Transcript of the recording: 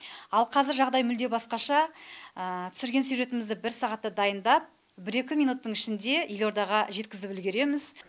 ал қазір жағдай мүлде басқаша түсірген сюжетімізді бір сағатта дайындап бір екі минуттың ішінде елордаға жеткізіп үлгереміз